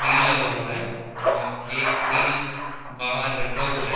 Grill लगा हुआ है और एक ग्रिल बाहर रखा हुआ है।